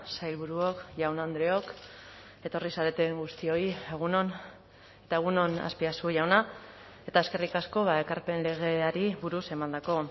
sailburuok jaun andreok etorri zareten guztioi egun on eta egun on azpiazu jauna eta eskerrik asko ekarpen legeari buruz emandako